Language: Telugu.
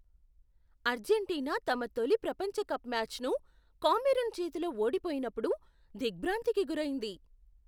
అర్జెంటీనా తమ తొలి ప్రపంచ కప్ మ్యాచ్ను కామెరూన్ చేతిలో ఓడిపోయినప్పుడు దిగ్భ్రాంతికి గురైంది.